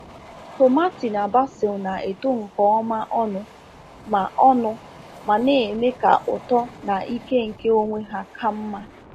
Tomati na basil na-eto nke ọma ọnụ ma ọnụ ma na-eme ka ụtọ na ike nke onwe ha ka mma.